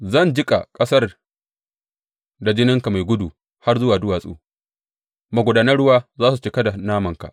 Zan jiƙa ƙasar da jininka mai gudu har zuwa duwatsu, magudanan ruwa za su cika da namanka.